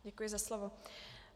Děkuji za slovo.